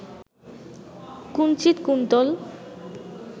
কুঞ্চিত Kuntal